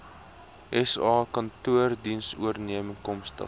sa kantore dienooreenkomstig